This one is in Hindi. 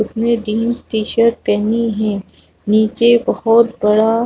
उसने जीन्स टी-शर्ट पहनी है नीचे बहोत बड़ा--